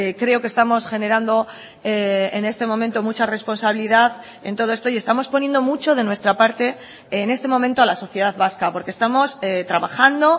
creo que estamos generando en este momento mucha responsabilidad en todo esto y estamos poniendo mucho de nuestra parte en este momento a la sociedad vasca porque estamos trabajando